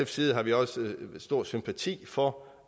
side har vi også stor sympati for